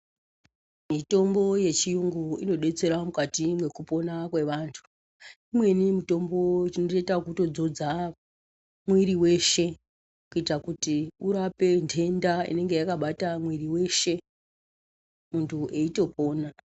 Mitombo yechiyungu inodetsera mukati mwekupona kwevantu. Imweni mitombo tinotoita ekutodzodza mwiri weshe kuita kuti kurape ntenda inenge yakabata mwiri weshe muntu eitopona.